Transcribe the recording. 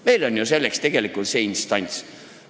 Meil on ju selleks tegelikult instants olemas.